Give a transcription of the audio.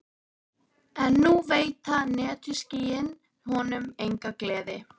En nú veita netjuskýin honum enga gleði.